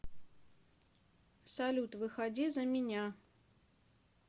салют выходи за меня